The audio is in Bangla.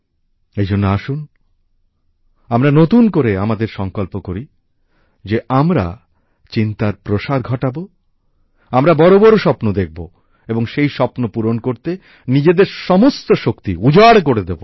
এই জন্য আসুন আমরা নতুন করে আমাদের সংকল্প করি যে আমরা চিন্তার প্রসার ঘটাবো আমরা বড় বড় স্বপ্ন দেখবো এবং সেই স্বপ্নপূরণ করতে নিজেদের সমস্ত শক্তি উজাড় করে দেব